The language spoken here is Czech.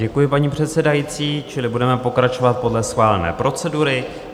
Děkuji, paní předsedající, čili budeme pokračovat podle schválené procedury.